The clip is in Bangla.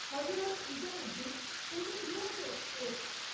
হজরত নিজামুদ্দিন পুনে দুরন্ত এক্সপ্রেস